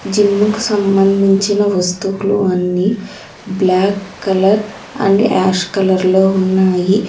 Gym కు సంబంధించిన వస్తువులు అన్నీ black colour and ash colour లో ఉన్నాయి.